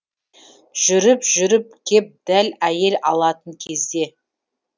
жүріп жүріп кеп дәл әйел алатын кезде